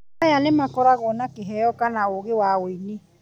aya nĩmakoragwo na kĩheo kana ũgĩ wa ũini